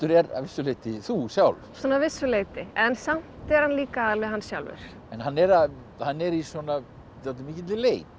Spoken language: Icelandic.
er að vissu leyti þú sjálf svona að vissu leyti en samt er hann líka alveg hann sjálfur hann er hann er í dálítið mikilli leit